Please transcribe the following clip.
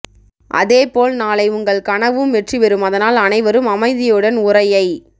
அதே போல் நாளை உங்கள் கனவும் வெற்றி பெறும் அதனால் அனைவரும் அமைதியுடன் உரையை